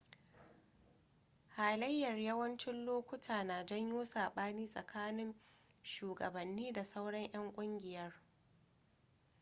halayyar yawancin lokuta na janyo saɓani tsakanin shugabanni da sauran 'yan kungiyar